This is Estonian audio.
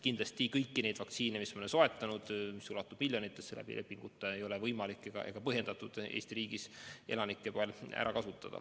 Kindlasti kõiki neid vaktsiine, mis me oleme soetanud ja mille dooside arv ulatub lepingute alusel miljonitesse, ei ole võimalik ega vajalik Eesti riigis ära kasutada.